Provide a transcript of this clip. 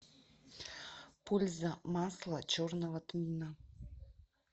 польза масло черного тмина